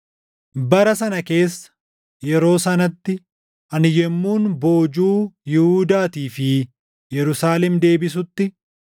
“Bara sana keessa, yeroo sanatti, ani yommuun boojuu Yihuudaatii fi // Yerusaalem deebisutti,